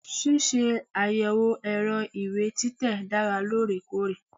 Ṣíṣe àyẹ̀wò ẹ̀rọ ìwé títẹ̀ dára lóòrèkóòrè.